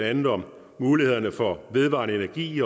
andet om mulighederne for vedvarende energi